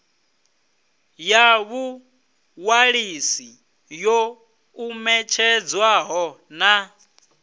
ya vhuṅwalisi yo ṱumetshedzwaho na